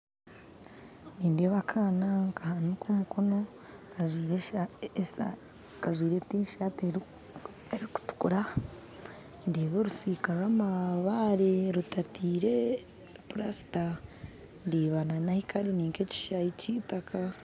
Nindeeba akaana nikahaanika omukono kajwire tisaati erikutuukura ndeeba orusiika rw'amabaare rutatire plaster ndeeba nahiikari ninka ekishaayi ky'itaaka